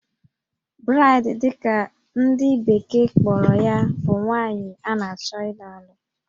Bride' dị ka ndị bekee kpọrọ ya bụ nwaanyị a na-achọ ịlụ alụ